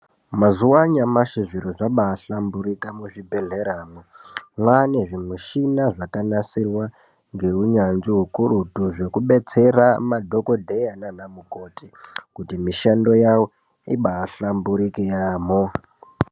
Mazuwa anyamashi zviro zvambaahlamburika muzvidhedhleramwo. Mwaane zvimishina zvakanasirwa ngeunyanzvi ukurutu, zvekubetsera madhokodheya nanamukoti kuti mishando yawo imbaahlamburika yaamho.